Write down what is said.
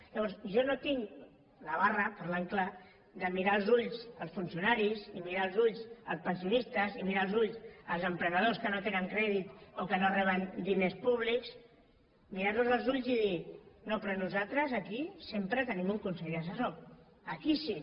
llavors jo no tinc la barra parlant clar de mirar als ulls els funcionaris i mirar als ulls els pensionistes i mirar als ulls els emprenedors que no tenen crèdit o que no reben diners públics mirar los als ulls i dir no però nosaltres aquí sempre tenim un consell assessor aquí sí